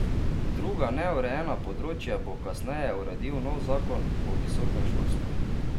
Druga neurejena področja bo kasneje uredil nov zakon o visokem šolstvu.